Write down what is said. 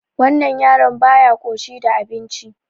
Wannan yaron baya ƙoshi da abinci.